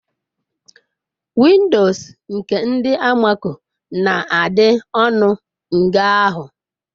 Windoos nke ndi almako na-adị ọnụ mgeahu.